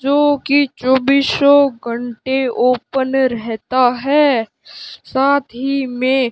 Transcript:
जो कि चौबीसो घंटे ओपन रहता है साथ ही में --